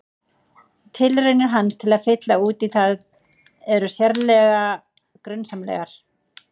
Tilraunir hans til að fylla út í það eru sérlega grunsamlegar.